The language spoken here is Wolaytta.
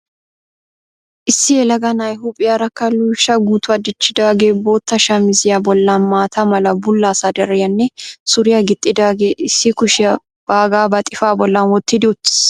Issi yelaga na"ay huuphiyarakka luysha guutuwa dichchidaage bootta shamiziyaa bollan mata mala bulla sadariyiyaanne suriyaa gixidaage issi kushiyaa baagaa ba xifaa bollan wottidi uttis.